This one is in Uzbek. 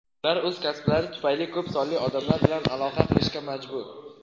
ular o‘z kasblari tufayli ko‘p sonli odamlar bilan aloqa qilishga majbur.